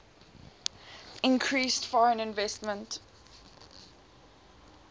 increased foreign investment